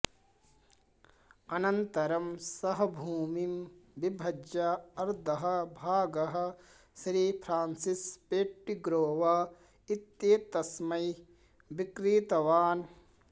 अनन्तरं सः भूमिं विभज्य अर्धः भागः श्री फ़्रान्सिस् पेट्टिग्रोव इत्येतस्मै विक्रीतवान्